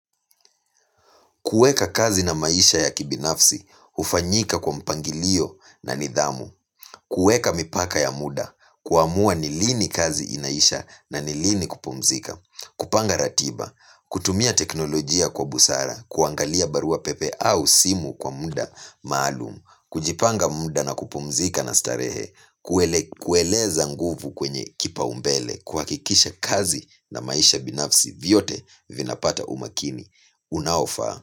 Kuweka kazi na maisha ya kibinafsi, hufanyika kwa mpangilio na nidhamu. Kuweka mipaka ya muda, kuamua nilini kazi inaisha na nilini kupumzika. Kupanga ratiba, kutumia teknolojia kwa busara, kuangalia barua pepe au simu kwa muda maalumu. Kujipanga muda na kupumzika na starehe, kueleza nguvu kwenye kipaumbele, kuhakikisha kazi na maisha binafsi vyote vinapata umakini unaofaa.